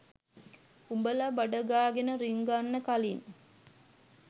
උඹළ බඩගාගෙන රිංගන්න කලින්